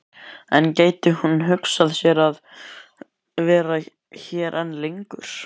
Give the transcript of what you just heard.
En gæti hún hugsað sér að vera hér enn lengur?